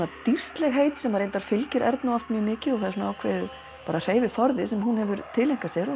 dýrslegheit sem reyndar fylgir Ernu oft mjög mikið og það er ákveðinn hreyfiforði sem hún hefur tileinkað sér